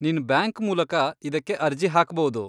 ನಿನ್ ಬ್ಯಾಂಕ್ ಮೂಲಕ ಇದಕ್ಕೆ ಅರ್ಜಿ ಹಾಕ್ಭೌದು.